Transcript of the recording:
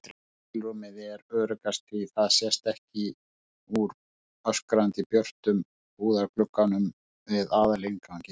skilrúmið er öruggast því það sést ekki úr öskrandi björtum búðarglugganum við aðalinnganginn.